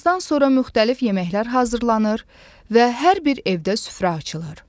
Namazdan sonra müxtəlif yeməklər hazırlanır və hər bir evdə süfrə açılır.